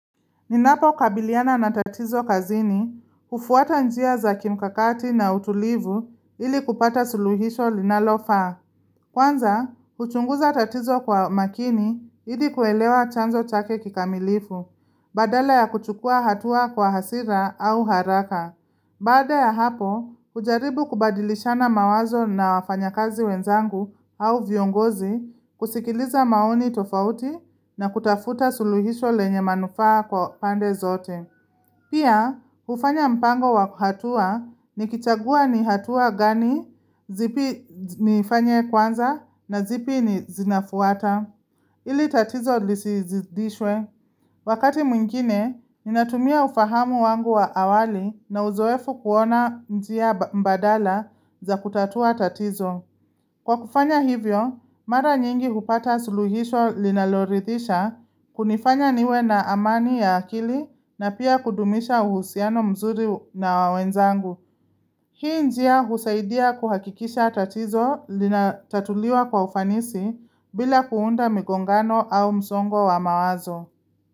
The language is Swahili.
Ninapo kabiliana na tatizo kazini, ufuata njia za kimkakati na utulivu ili kupata suluhisho linalofaa. Kwanza, uchunguza tatizo kwa makini ili kuelewa chanzo chake kikamilifu, badala ya kuchukua hatua kwa hasira au haraka. Baada ya hapo, ujaribu kubadilishana mawazo na wafanyakazi wenzangu au viongozi, kusikiliza maoni tofauti na kutafuta suluhisho lenye manufaa kwa pande zote. Pia, ufanya mpango wa hatua nikichagua ni hatua gani, zipi nifanye kwanza na zipi ni zinafuata. Ili tatizo lisizidishwe. Wakati mwingine, ninatumia ufahamu wangu wa awali na uzoefu kuona njia mbadala za kutatua tatizo. Kwa kufanya hivyo, mara nyingi hupata suluhisho linaloridhisha kunifanya niwe na amani ya akili na pia kudumisha uhusiano mzuri na wenzangu. Hii njia husaidia kuhakikisha tatizo linatatuliwa kwa ufanisi bila kuunda migongano au msongo wa mawazo.